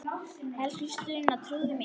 Elsku Sunna, trúðu mér!